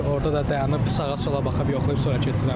Orada da dayanıb sağa-sola baxıb yoxlayıb sonra keçirəm.